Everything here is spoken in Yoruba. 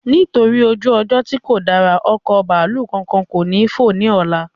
Nítorí ojú ọjọ́ tí kò dára, ọkọ̀ bàálù kánkán ko ni fo ni ọlá